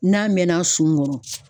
N'a mɛnna sunkɔrɔ.